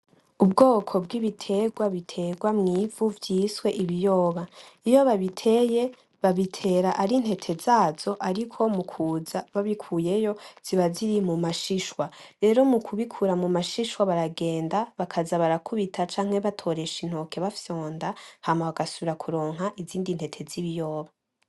Ubwoko bw'ibitegwa bitegwa mw'ivu vyiswe ibiyoba. Iyo babiteye babitera ari intete zazo, ariko mu kuza babikuyeyo ziba ziri mu mashishwa. Rero mu kubikura mu mashishwa baragenda bakaza barakubita canke batoresha intoke bafyonda, hama bagasubira kuronka izindi ntete z'ibiyoba.